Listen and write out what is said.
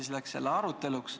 Aga läks ikkagi aruteluks.